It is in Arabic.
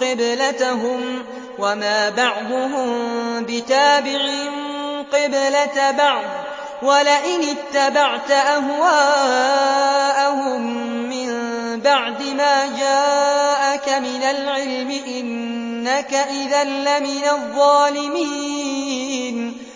قِبْلَتَهُمْ ۚ وَمَا بَعْضُهُم بِتَابِعٍ قِبْلَةَ بَعْضٍ ۚ وَلَئِنِ اتَّبَعْتَ أَهْوَاءَهُم مِّن بَعْدِ مَا جَاءَكَ مِنَ الْعِلْمِ ۙ إِنَّكَ إِذًا لَّمِنَ الظَّالِمِينَ